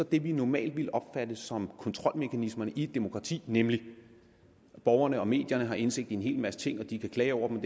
det vi normalt ville opfatte som kontrolmekanismerne i et demokrati nemlig at borgerne og medierne har indsigt i en hel masse ting at de kan klage over det